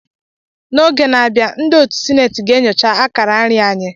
N'izu na-abịa, ndị otu sineti ga-enyocha akararị anyị.